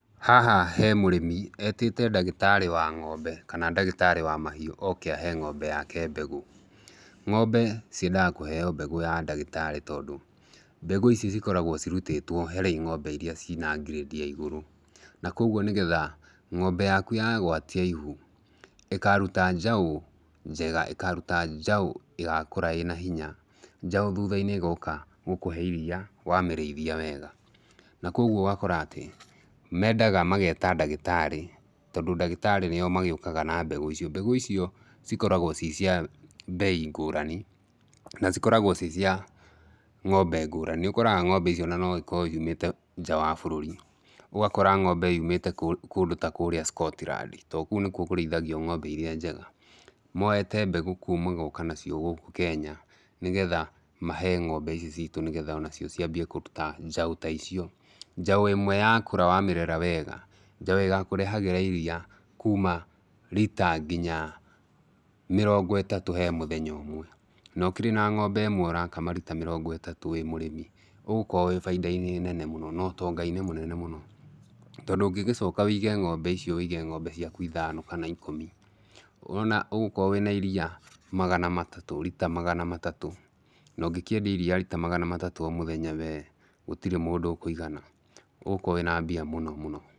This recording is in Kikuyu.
Haha he mũrĩmi, etĩte ndagĩtarĩ wa ng'ombe kana ndagĩtarĩ wa mahiũ oke ahe ng'ombe yake mbegũ. Ng'ombe ciendaga kũheo mbegũ ya ndagĩtarĩ tondũ mbegũ ici cikoragwo cirutĩtwo harĩ ng'ombe irĩa ciĩna grade ya igũrũ. Na kwoguo nĩgetha ng'ombe yaku ya gwatia ihu, ĩkaruta njaũ njega, ĩkaruta njaũ ĩgakũra ĩna hinya, njaũ thutha-inĩ ĩgakũhe iria wamĩrĩithia wega. Na kwoguo ũgakora atĩ mendaga mageta ndagĩtarĩ tondũ ndagĩtarĩ nĩo mokaga na mbegũ icio. Mbegũ icio cikoragwo ci cia mbei ngũrani na cikoragwo ci cia ng'ombe ngũrani. Nĩ ũkoraga ng'ombe icio ona no cikorwo ciumĩte nja wa bũrũri. Ũgakora ng'ombe yumĩte kũndũ ta kũrĩa Scotland tondũ kũu nĩkuo kũrĩithagio ng'ombe irĩa njega. Moete mbegũ kũu magoka nacio gũkũ Kenya nĩgetha mahe ng'ombe ici citũ nĩgetha onacio ciambie kũruta njaũ ta icio. Njaũ ĩmwe yakũra wamĩrera wega, njaũ ĩgakũrehagĩra iria kuuma rita nginya mĩrongo ĩtatũ he mũthenya ũmwe. Na ũkĩrĩ na ng'ombe ĩmwe ũrakama rita mĩrongo ĩtatũ wĩ mũrĩmi ũgũkorwo wĩ baita-inĩ nene na ũtonga-inĩ mũnene mũno. Tondũ ũngĩgĩcoka ũige ng'ombe icio ũige ng'ombe ciaku ithano kana ikũmi, ũrona ũgũkorwo wĩna iria rita magana matatũ. Na ũngĩkĩendia iria rita magana matatũ o mũthenya we gũtirĩ mũndũ ũkũigana, ũgũkorwo wĩna mbia mũno mũno.